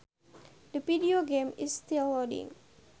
The video game is still loading